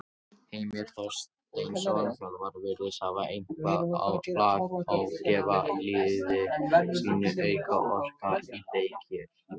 Heimir Þorsteinsson, þjálfari virðist hafa eitthvað lag á gefa liði sínu auka orku í leikhléi.